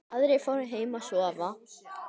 Aðrir fóru heim að sofa.